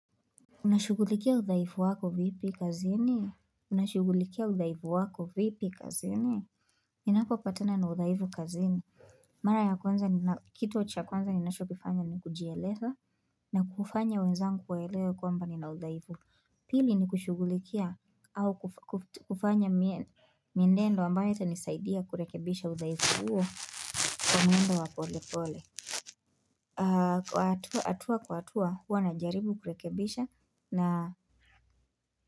Unashugulikia udhaifu wako vipi kazini? Unashugulikia udhaifu wako vipi kazini? Ninapopatana na udhaifu kazini. Mara ya kwanza ni kitu wa cha kwanza ninachokifanya ni kujielesa na kufanya wenzangu waeleo kompani na udhaifu. Pili ni kushugulikia au kufanya miendendo ambayo itanisaidia kurekebisha udhaifu huo kwa mwendo wa pole pole. Atua kwa atua huwa na jaribu kurekebisha na.